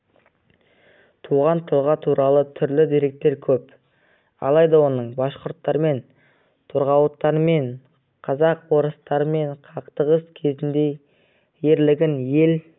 туған тұлға туралы түрлі дерек көп алайда оның башқұрттармен торғауыттармен казак-орыстармен қақтығыс кезіндегі ерлігін ел